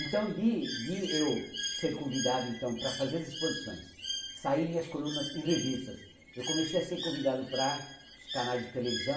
Então, de de eu ser convidado então para fazer as exposições, sair minhas colunas em revistas, eu comecei a ser convidado para os canais de televisão,